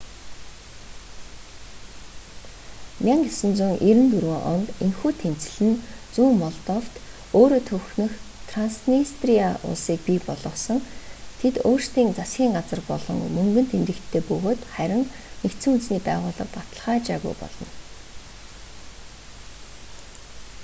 1994 онд энэхүү тэмцэл нь зүүн молдовт өөрөө төвхнөх транснистриа улсыг бий болгосон тэд өөрсдийн засгын газар болон мөнгөн тэмдэгттэй бөгөөд харин нүб баталгаажаагүй болно